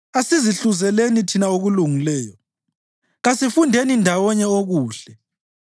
Asizihluzeleni thina okulungileyo; kasifundeni ndawonye okuhle.